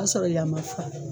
O y'a sɔrɔ yan ma fa